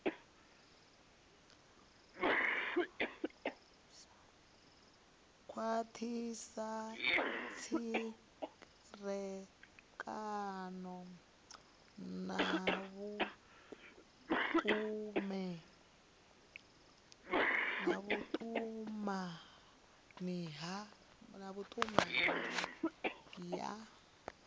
khwathisa tserekano na vhutumani ya